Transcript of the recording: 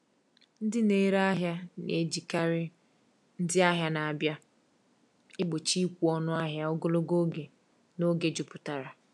Ndị na-ere ahịa na-ejikarị “ndị ahịa na-abịa” egbochi ịkwụ ọnụ ahịa ogologo oge n’oge jupụtara.